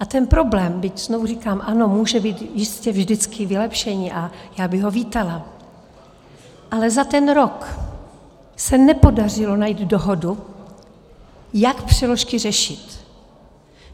A ten problém, byť znovu říkám ano, může být jistě vždycky vylepšení, a já bych ho vítala, ale za ten rok se nepodařilo najít dohodu, jak přeložky řešit.